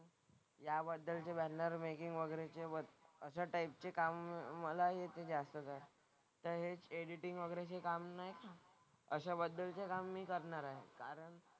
याबद्दलचे banner making वगैरेचे work अशा टाईपचे कामं मला येते जास्त करून. तर हेच एडिटिंग वगैरेचे काम ना अशा बद्दलचे काम मी करणार आहे. कारण,